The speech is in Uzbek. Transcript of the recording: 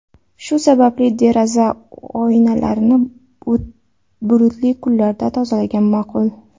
Shu sababli, deraza oynalarini bulutli kunlarda tozalagan ma’qul.